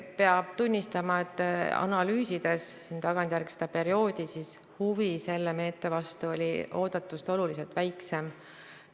Peab tunnistama, et tagantjärele seda perioodi analüüsides, oli huvi selle meetme vastu oodatust oluliselt väiksem.